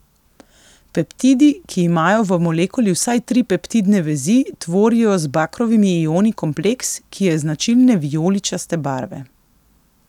Peptidi, ki imajo v molekuli vsaj tri peptidne vezi, tvorijo z bakrovimi ioni kompleks, ki je značilne vijoličaste barve.